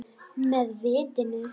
Með vitinu.